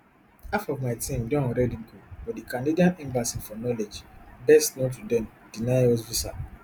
half of my team don already go but di canadian embassy for knowledge best known to dem deny us visa